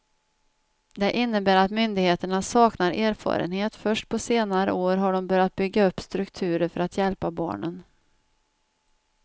Det innebär att myndigheterna saknar erfarenhet, först på senare år har de börjat bygga upp strukturer för att hjälpa barnen.